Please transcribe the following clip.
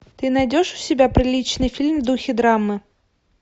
ты найдешь у себя приличный фильм в духе драмы